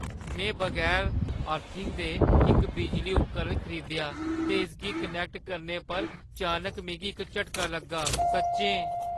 में बगैर अर्थिंग दे इक बिजली उपकरण खरीदेआ ते इसगी कनैक्ट करने पर चानक मिगी इक झटका लग्गा, सच्चें।